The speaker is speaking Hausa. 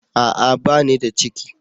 A'a! Ba ni da ciki.